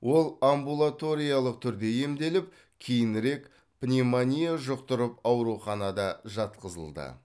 ол амбулаториялық түрде емделіп кейінірек пневмония жұқтырып ауруханада жатқызылды